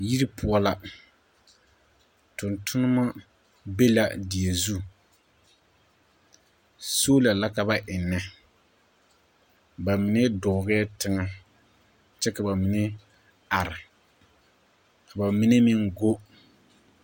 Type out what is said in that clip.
Yiri poɔ la. Tontonema be la die zu. Soola la ka ba ennɛ. Ba mine dɔɔgɛɛ teŋɛ kyɛ ka ba mine are. Ka ba mine meŋ go.